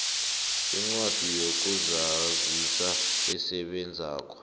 incwadi yokuzazisa esebenzako